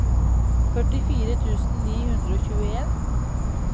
førtifire tusen ni hundre og tjueen